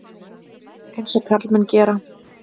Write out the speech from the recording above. Eins og karlmenn gera.